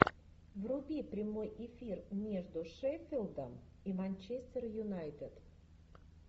вруби прямой эфир между шеффилдом и манчестер юнайтед